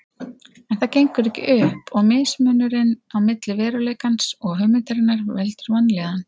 En það gengur ekki upp og mismunurinn á milli veruleikans og hugmyndarinnar veldur vanlíðan.